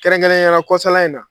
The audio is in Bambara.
Kɛrɛnkɛrɛnyala kɔsa in na